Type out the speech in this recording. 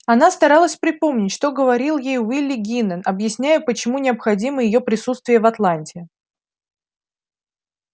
она старалась припомнить что говорил ей уилли гинен объясняя почему необходимо её присутствие в атланте